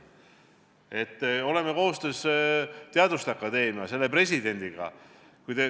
Me oleme teinud koostööd teaduste akadeemia ja selle presidendiga.